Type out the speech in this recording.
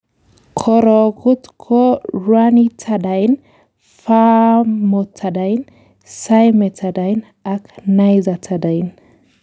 Korokut ko ranitidine, famotidine, cimetidine ak nizatidine.